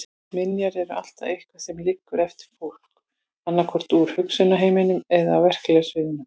Minjar er alltaf eitthvað sem liggur eftir fólk, annaðhvort úr hugarheiminum eða á verklega sviðinu.